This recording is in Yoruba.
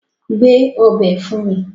Gbé ọbẹ̀ fún mí!